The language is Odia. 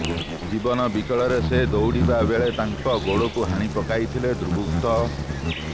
ଜୀବନ ବିକଳରେ ସେ ଦୌଡ଼ିବା ବେଳେ ତାଙ୍କ ଗୋଡ଼କୁ ହାଣି ପକାଇଥିଲେ ଦୁର୍ବୃତ୍ତ